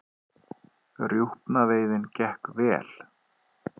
Rjúpnaveiðin gekk vel